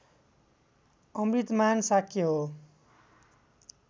अमृतमान शाक्य हो